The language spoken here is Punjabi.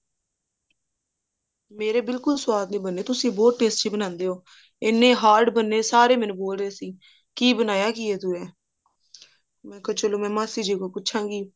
ਮੇਰੇ ਬਿਲਕੁਲ ਸਵਾਦ ਨੀ ਬਣੇ ਤੁਸੀਂ ਬਹੁਤ tasty ਬਣਾਉਂਦੇ ਹੋ ਇੰਨੇ hard ਬਣੇ ਸਾਰੇ ਮੈਨੂੰ ਬੋਲ ਰਹੇ ਸੀ ਕੀ ਬਣਾਇਆ ਕੀ ਹੈ ਤੂੰ ਇਹ ਮੈਂ ਕਿਹਾ ਚਲੋ ਮੈਂ ਮਾਸੀ ਜੀ ਕੋਲੋਂ ਪੁੱਛਾ ਗੀ